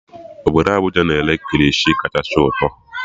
Obodo Abuja na-ere kirishi kachasị ụtọ